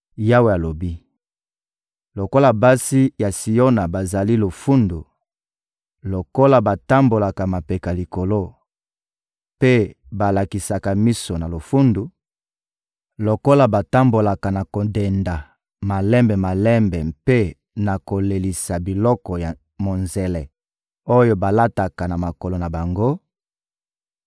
Yawe alobi: «Lokola basi ya Siona bazali lofundu, lokola batambolaka mapeka likolo mpe balalisaka miso na lofundu, lokola batambolaka na kodenda malembe-malembe mpe na kolelisa biloko ya monzele oyo balataka na makolo na bango,